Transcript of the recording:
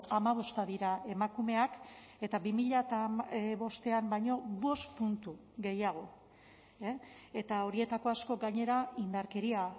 hamabosta dira emakumeak eta bi mila bostean baino bost puntu gehiago eta horietako asko gainera indarkeria